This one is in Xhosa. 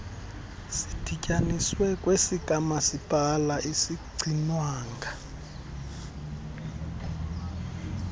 sidityaniswe kwesikamasipala asigcinwanga